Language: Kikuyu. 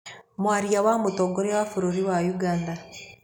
Mwaria wa mũtongoria wa bũrũri wa ũganda.